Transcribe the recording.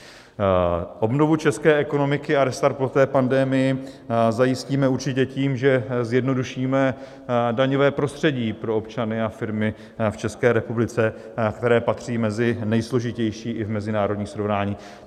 Obnovu české ekonomiky a restart po té pandemii zajistíme určitě tím, že zjednodušíme daňové prostředí pro občany a firmy v České republice, které patří mezi nejsložitější i v mezinárodním srovnání.